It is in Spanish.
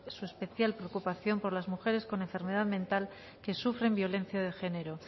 su especial preocupación por las mujeres con enfermedad mental que sufren violencia de género